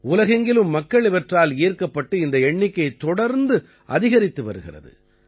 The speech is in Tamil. உலகெங்கிலும் மக்கள் இவற்றால் ஈர்க்கப்பட்டு இந்த எண்ணிக்கை தொடர்ந்து அதிகரித்து வருகிறது